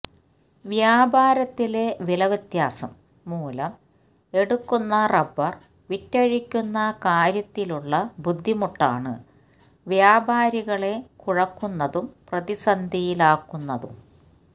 വ്യാപാരത്തിലെ വിലവ്യത്യാസം മൂലം എടുക്കുന്ന റബ്ബര് വിറ്റഴിക്കുന്ന കാര്യത്തിലുളള ബുദ്ധിമുട്ടാണ് വ്യാപാരികളെ കുഴക്കുന്നതും പ്രതിസന്ധിയിലാക്കുന്നതും